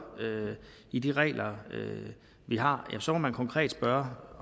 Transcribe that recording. i de regler vi har ja så må man konkret spørge